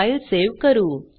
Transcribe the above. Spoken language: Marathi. फाईल सेव्ह करू